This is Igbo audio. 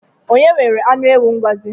Onye nwere anụ ewu Ngọzi?